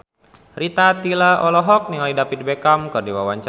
Rita Tila olohok ningali David Beckham keur diwawancara